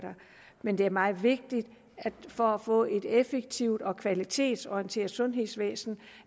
men det er meget vigtigt at vi for at få et effektivt og kvalitetsorienteret sundhedsvæsen